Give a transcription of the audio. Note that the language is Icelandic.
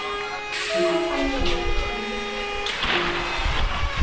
Svo fann hún að bókin kom siglandi yfir til hennar.